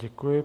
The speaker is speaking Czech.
Děkuji.